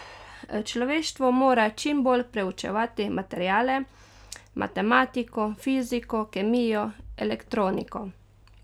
Človeštvo mora čim bolj preučevati materiale, matematiko, fiziko, kemijo, elektroniko.